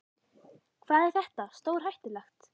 Hvað er þetta stórhættulegt?